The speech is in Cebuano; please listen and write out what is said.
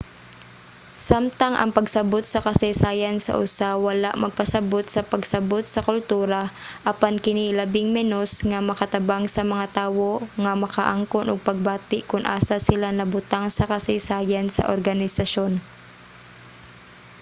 samtang ang pagsabot sa kasaysayan sa usa wala magpasabut sa pagsabot sa kultura apan kini labing menos nga makatabang sa mga tawo nga makaangkon og pagbati kon asa sila nabutang sa kasaysayan sa organisasyon